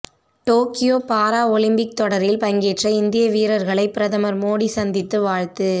Tokyo para Olympic தொடரில் பங்கேற்ற இந்திய வீரர்களை பிரதமர் மோடி சந்தித்து வாழ்த்து